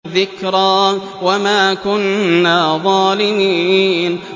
ذِكْرَىٰ وَمَا كُنَّا ظَالِمِينَ